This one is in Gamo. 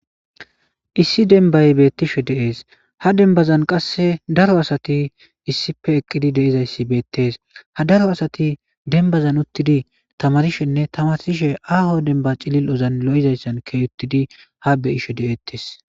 issi denbay bettishe deees ha dembazan qasse daro asati issife eqqidi deizayssi beettees ha daro asati denbazan uttidi tamarishenne tamasishe aho denba cilil ozan lo7izayssan key uttidi ha beyishe deeettes